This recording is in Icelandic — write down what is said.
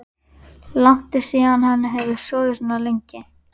Langt er síðan hann hefur sofið svona lengi.